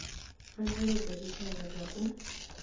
pfanelo dza tshitshavha dza u